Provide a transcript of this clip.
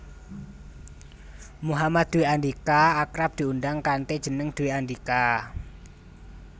Muhammad Dwi Andhika akrab diundang kanthi jeneng Dwi Andhika